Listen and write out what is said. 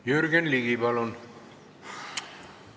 Jürgen Ligi, palun!